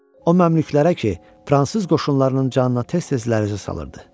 O məmlükələrə ki, fransız qoşunlarının canına tez-tez lərəzə salırdı.